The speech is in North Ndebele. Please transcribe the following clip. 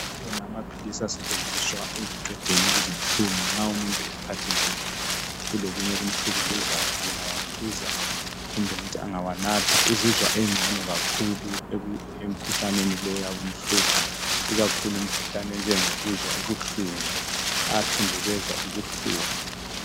Amaphilisi asetshenziswa ekuqedeni izinhlungu nxa umuntu ephathekile kulokunye okumhlukuluzayo angawaphuza kumbe ngithi angawanatha uzizwa engcono kakhulu emkhuhlaneni lo oyabumhlupha ikakhulu imkhuhlane enjengokuzwa ubuhlungu ayathundubeza ubuhlungu.